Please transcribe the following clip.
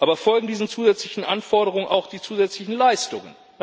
Aber folgen diesen zusätzlichen Anforderungen auch die zusätzlichen Leistungen?